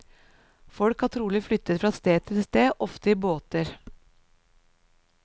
Folk har trolig flyttet fra sted til sted, ofte i båter.